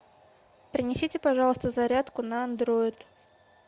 принесите пожалуйста зарядку на андроид